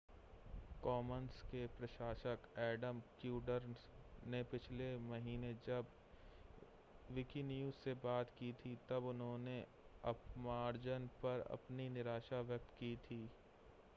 Commons के प्रशासक Adam Cuerden ने पिछले महीने जब विकिन्यूज़ से बात की थी तब उन्होंने अपमार्जन पर अपनी निराशा व्यक्त की थी